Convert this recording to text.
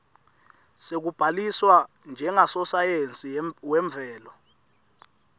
sekubhaliswa njengasosayensi wemvelo